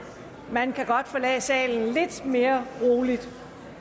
man kan godt forlade salen lidt mere roligt